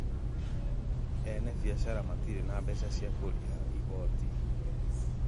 Ene biacara matirĩ na mbeca cia kũrĩha igoti